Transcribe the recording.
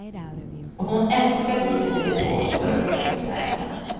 Och hon älskar livet i depån och runt omkring tävlingarna.